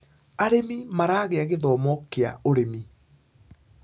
arĩmi maragia githomo kĩa ũrĩmi